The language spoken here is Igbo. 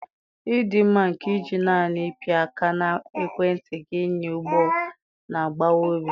Ọdịmma nke iji naanị ịpị aka na ekwentị gị ịnya ụgbọ na-agbawa obi.